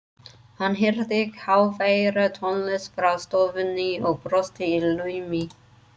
Hann heyrði háværa tónlist frá stofunni og brosti í laumi.